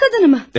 Evet.